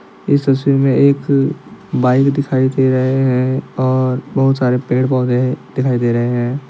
इस तस्वीर में एक बाइक दिखाई दे रहे हैं और बहुत सारे पेड़ पौधे दिखाई दे रहे है.